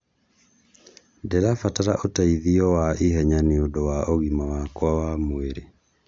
Ndĩrabatara ũteithio wa ihenya nĩundu wa ũgima wakwa wa mũĩrĩ.